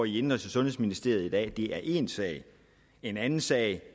i indenrigs og sundhedsministeriet i dag er en sag en anden sag